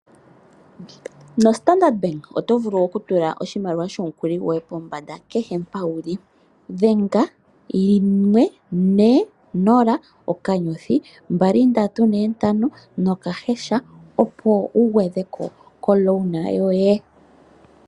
NoStandard Bank oto vulu okutula oshimaliwa shomukuli goye pombanda kehe mpa wu li. Dhenga *140*2345# opo wu gwedhe ko komukuli goye.